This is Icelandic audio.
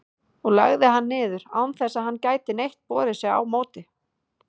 og lagði hann niður, án þess að hann gæti neitt borið sig á móti.